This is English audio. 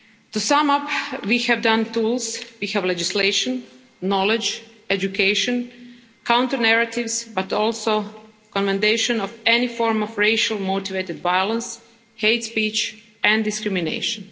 To sum up, we have the tools, legislation, knowledge, education, counter narratives, but also condemnation of any form of racially motivated violence, hate speech and discrimination.